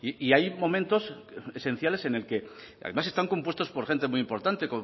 y hay momentos esenciales en el que además están compuestos por gente muy importante